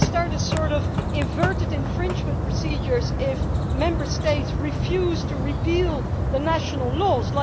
Will it start a sort of inverted infringement procedure if Member States refuse to repeal the national laws?